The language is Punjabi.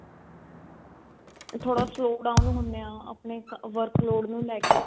ਥੋੜਾ slow down ਹੁੰਨੇ ਆ ਆਪਣੇ work load ਨੂੰ ਲੈ ਕੇ